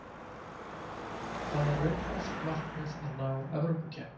Það er raunhæft markmið að ná Evrópukeppni.